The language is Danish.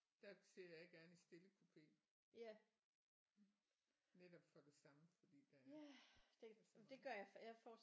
Der sidder jeg gerne i stillekupe netop for det samme fordi der er så meget